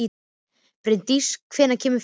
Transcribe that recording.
Bryndís, hvenær kemur fjarkinn?